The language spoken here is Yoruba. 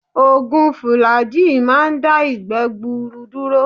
Ògùn Fùlàgíì máa ń dá ìgbẹ́ gbuuru dúró.